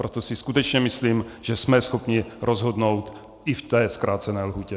Proto si skutečně myslím, že jsme schopni rozhodnout i v té zkrácené lhůtě.